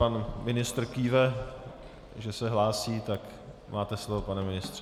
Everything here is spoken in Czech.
Pan ministr kýve, že se hlásí, tak máte slovo, pane ministře.